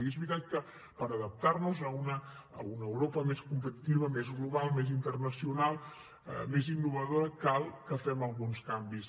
i és veritat que per adaptar nos a una europa més competitiva més global més internacional més innovadora cal que fem alguns canvis